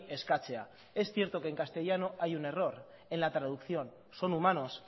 eskatzea es cierto que en castellano hay un error en la traducción son humanos